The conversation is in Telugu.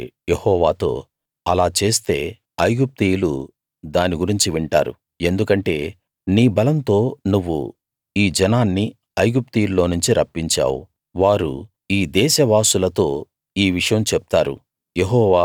మోషే యెహోవాతో అలా చేస్తే ఐగుప్తీయులు దాని గురించి వింటారు ఎందుకంటే నీ బలంతో నువ్వు ఈ జనాన్ని ఐగుప్తీయుల్లో నుంచి రప్పించావు వారు ఈ దేశ వాసులతో ఈ విషయం చెప్తారు